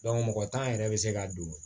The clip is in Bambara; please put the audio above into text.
mɔgɔ tan yɛrɛ bɛ se ka don